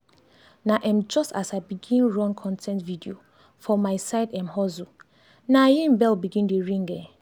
na um just as i begin run con ten t video for my side um hustle na im bell begin dey ring. um